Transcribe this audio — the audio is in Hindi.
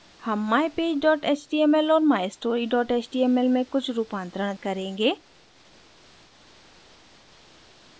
हम mypage html और mystory html में कुछ रूपांतरण करेंगे